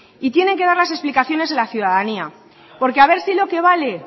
y tienen que dar las explicaciones en la ciudadanía porque a ver si lo que vale